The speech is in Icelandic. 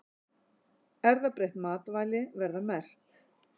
Erfðabreytt matvæli verða merkt